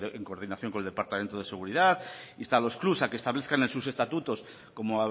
en coordinación con el departamento de seguridad insta a los club a que establezcan en sus estatutos como